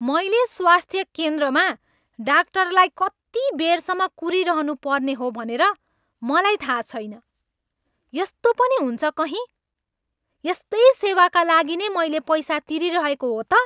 "मैले स्वास्थ्य केन्द्रमा डाक्टरलाई कति बेरसम्म कुरिरहनु पर्ने हो भनेर मलाई थाहा छैन, यस्तो पनि हुन्छ कहीँ? यस्तै सेवाका लागि नै मैले पैसा तिरीरहेको हो त?"